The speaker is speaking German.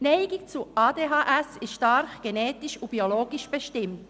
Die Neigung zu ADHS ist stark genetisch und biologisch bestimmt.